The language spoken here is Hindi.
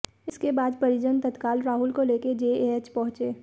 इसके बाद परिजन तत्काल राहुल को लेकर जेएएच पहंुचे